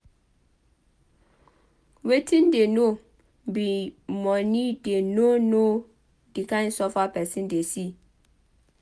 Wetin dey know be money dey no know the kind suffer person dey see